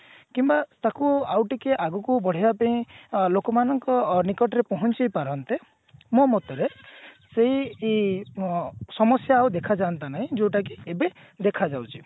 କିମ୍ବା ତାକୁ ଆଉ ଟିକେ ଆଗୁକୁ ବଢିବା ପେଇଁ ଅ ଲୋକମାନଙ୍କ ନିକଟରେ ପହଞ୍ଚାଇ ପାରନ୍ତେ ମୋ ମତରେ ସେଇ ଇଁ ଅ ସମସ୍ଯା ଆଉ ଦେଖା ଯାଆନ୍ତା ନାଇଁ ଯୋଉଟା କି ଏବେ ଦେଖାଯାଉଛି